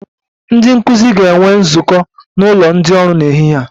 Ndị nkụzi ga-enwe nzukọ n'ụlọ ndị ọrụ n'ehihie a